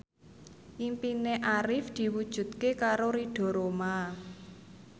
impine Arif diwujudke karo Ridho Roma